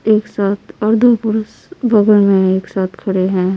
एक साथ और दो पुरुष बगल में एक साथ खड़े हैं।